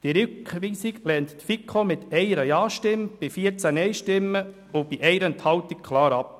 Die FiKo lehnt die Rückweisung mit 1 Ja-Stimme bei 14 Nein-Stimmen und 1 Enthaltung klar ab.